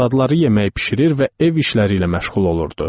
Arvadları yemək bişirir və ev işləri ilə məşğul olurdu.